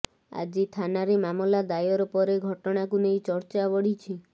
ଆଜି ଥାନାରେ ମାମଲା ଦାୟର ପରେ ଘଟଣାକୁ ନେଇ ଚର୍ଚ୍ଚା ବଢିଛି